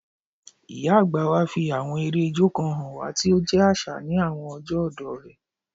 Ìyá àgbà wa fi àwọn eré ijó kan hàn wá tí ó jẹ́ àṣà ní àwọn ọjọ́ ọ̀dọ́ rẹ̀